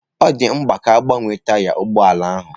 Ọ dị mkpa ka a gbanwee taya ụgbọ ala ahụ.